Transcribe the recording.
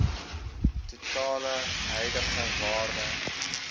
totale huidige waarde